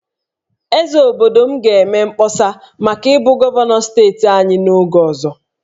Eze obodo m ga-eme mkpọsa maka ịbụ gọvanọ steeti anyị n'oge ọzọ